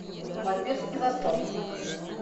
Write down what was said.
вампирский засос